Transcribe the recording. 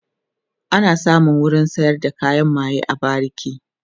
ana samun wurin sayar da kayan maye a bariki